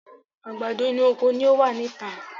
Àgbàdo inú oko ni ọ wá ní ìta